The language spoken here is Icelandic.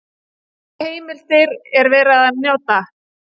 Hvaða heimildir er verið að nota?